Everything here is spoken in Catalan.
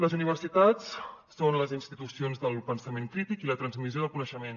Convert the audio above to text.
les universitats són les institucions del pensament crític i la transmissió del coneixement